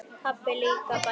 Pabbi líka, bætir hún við.